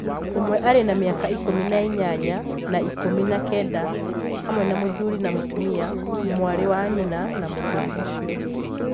Ũmwe arĩ na mĩaka ikũmi na inyanya na ikũmi na kenda, hamwe na mũthuri na mũtumia, mwarĩ wa nyina na mũthuri ũcio.